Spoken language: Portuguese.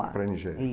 lá. Para a Nigéria.